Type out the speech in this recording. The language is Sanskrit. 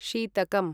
शीतकम्